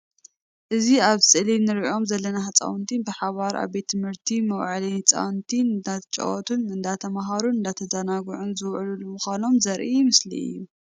እዚ ኣብ ስእሊ ንርኦም ዘለና ህፃውንቲ ብሓባር ኣብ ቤት ትምህርቲ መውዓሊ ህፃውንቲ እንዳተጫወቱን እንዳተማሃሩን እንዳተዛናግዑን ዝውዕሉ ምኳኖም ዘርኢ ምስሊ እዩ።